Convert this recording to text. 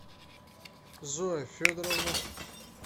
зоя федоровна